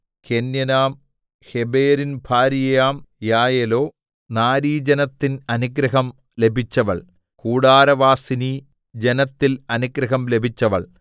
കേന്യനാം ഹേബെരിൻ ഭാര്യയാം യായേലോ നാരീജനത്തിൽ അനുഗ്രഹം ലഭിച്ചവൾ കൂടാരവാസിനീ ജനത്തിൽ അനുഗ്രഹം ലഭിച്ചവൾ